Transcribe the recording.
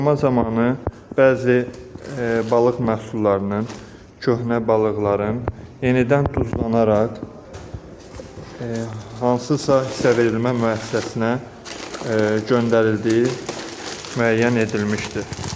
Yoxlama zamanı bəzi balıq məhsullarının, köhnə balıqların yenidən duzlanaraq hansısa hissə verilmə müəssisəsinə göndərildiyi müəyyən edilmişdir.